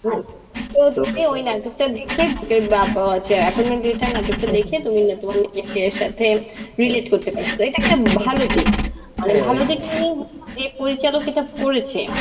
তুমি ওই নাটক টা দেখে appoinment letter নাটক টা দেখে তুমি তোমার নিজেকে সাথে relate করতে পারস, এটা একটা ভালো দিক. মানে ভালো দিক মানে, যে পরিচালক এটা করেছে